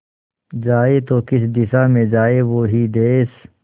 जाए तो किस दिशा में जाए वो ही देस